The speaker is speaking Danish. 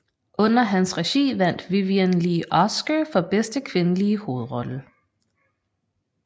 Under hans regi vandt Vivien Leigh Oscar for bedste kvindelige hovedrolle